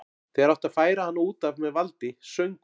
Þegar átti að færa hana út af með valdi söng hún